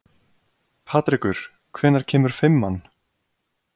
Patrekur, hvenær kemur fimman?